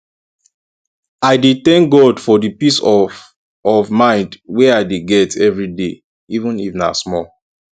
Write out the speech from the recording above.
i dey tank god for di peace of of mind wey i dey get evriday even if na small